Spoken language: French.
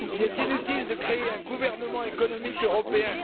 Il est inutile de créer un gouvernement économique européen.